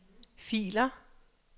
filer